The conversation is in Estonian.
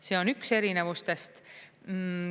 See on üks erinevustest.